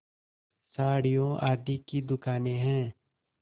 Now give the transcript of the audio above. साड़ियों आदि की दुकानें हैं